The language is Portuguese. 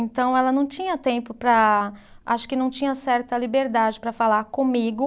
Então, ela não tinha tempo para.. Acho que não tinha certa liberdade para falar comigo,